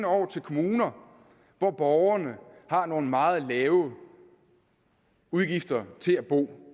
over til kommuner hvor borgerne har nogle meget lave udgifter til at bo